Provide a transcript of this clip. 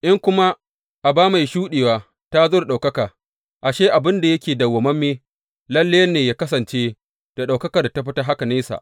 In kuma aba mai shuɗewa ta zo da ɗaukaka, ashe, abin da yake dawwammame, lalle ne yă kasance da ɗaukakar da ta fi haka nesa!